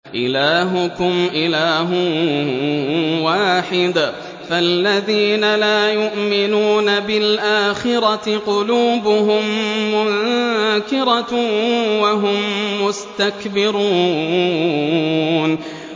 إِلَٰهُكُمْ إِلَٰهٌ وَاحِدٌ ۚ فَالَّذِينَ لَا يُؤْمِنُونَ بِالْآخِرَةِ قُلُوبُهُم مُّنكِرَةٌ وَهُم مُّسْتَكْبِرُونَ